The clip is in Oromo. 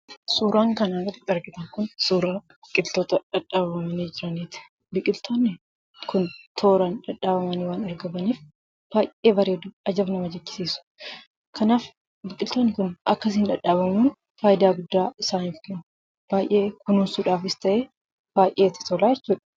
Suuraan kanaa gaditti argitan Kun, suuraa biqiltoota dhadhaabamanii jiraniiti. Biqiltoonni Kun tooraan dhadhaabamanii waan argamaniif baayyee bareedu, ajab nama jechisiisu. Kanaaf biqiltoonni Kun akkasiin dhadhaabamuun fayidaan guddaa isaan kennu. Baayyee kunuunsuudhaafis ta'ee baayyee itti tolaa jechuudha.